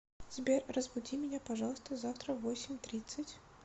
сбер разбуди меня пожалуйста завтра в восемь тридцать